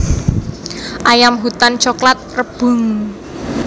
Ayam hutan coklat Rebhuhn